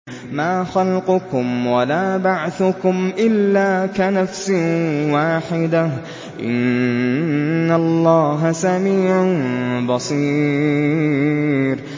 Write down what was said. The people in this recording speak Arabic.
مَّا خَلْقُكُمْ وَلَا بَعْثُكُمْ إِلَّا كَنَفْسٍ وَاحِدَةٍ ۗ إِنَّ اللَّهَ سَمِيعٌ بَصِيرٌ